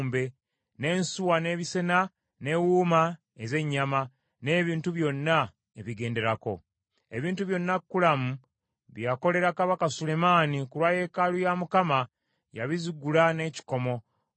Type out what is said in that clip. n’ensuwa, n’ebisena, n’ewuuma ez’ennyama, n’ebintu byonna ebigenderako. Ebintu byonna Kulamu bye yakolera Kabaka Sulemaani ku lwa yeekaalu ya Mukama yabizigula n’ekikomo.